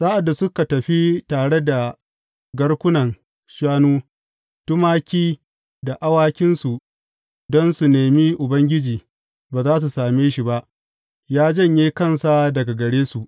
Sa’ad da suka tafi tare da garkunan shanu, tumaki da awakinsu don su nemi Ubangiji, ba za su same shi ba; ya janye kansa daga gare su.